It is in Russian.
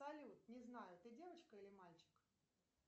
салют не знаю ты девочка или мальчик